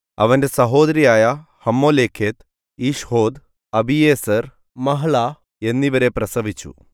അവന്റെ സഹോദരിയായ Hammoleketh Ishhod Abiezer Mahlah എന്നിവരെ പ്രസവിച്ചു